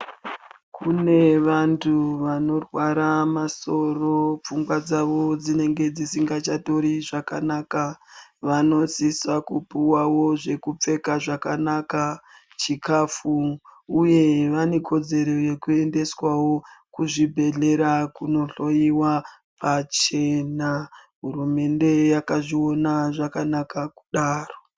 Kune vantu vanorwara masoro. Pfungwa dzavo dzinenge dzisingachatori zvakanaka vanosisa kupuwawo zvekupfeka zvakanaka, chikafu uye vane kodzero yekuendeswawo kuzvibhedhlera kunohloyiwa pachena. Hurumende yakazviona zvakanaka kudaro.